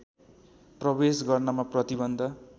प्रवेश गर्नमा प्रतिबन्ध